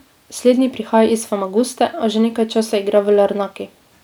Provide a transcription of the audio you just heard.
Slednji prihaja iz Famaguste, a že nekaj časa igra v Larnaki.